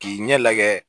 K'i ɲɛ lajɛ